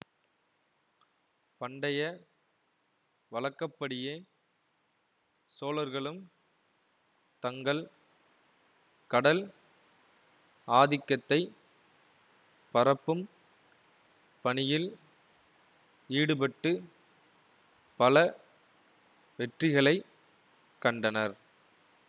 பண்டைய வழக்கப்படியே சோழர்களும் தங்கள் கடல் ஆதிக்கத்தைப் பரப்பும் பணியில் ஈடுபட்டு பல வெற்றிகளை கண்டனர்